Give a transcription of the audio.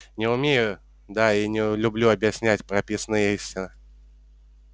не умею да и не люблю объяснять прописные истины